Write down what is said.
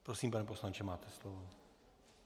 Prosím, pane poslanče, máte slovo.